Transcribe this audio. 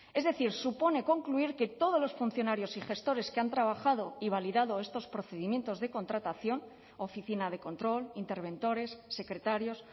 es decir supone concluir que todos los funcionarios y gestores que han trabajado y validado estos procedimientos de contratación oficina de control interventores secretarios